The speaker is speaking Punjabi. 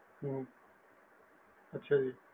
ਅੱਛਾ ਜੀ